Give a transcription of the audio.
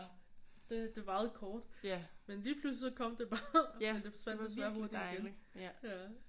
Det det varede kort men lige pludselig så kom det bare og så forsvandt det også hurtigt igen